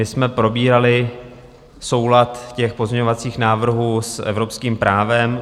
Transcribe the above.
My jsme probírali soulad těch pozměňovacích návrhů s evropským právem.